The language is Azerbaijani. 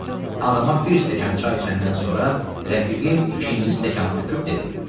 Bəli, adama bir stəkan çay içəndən sonra rəfiqim ikinci stəkanı töküb dedi: